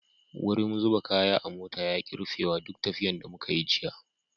Wurin zuba kaya a mota ya ki rufewa duk tafiyan da muka yi jiya.